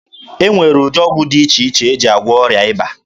E nwere ụdị ọgwụ dị iche iche e ji agwụọ ọrịa ịba